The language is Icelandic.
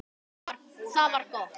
Það var gott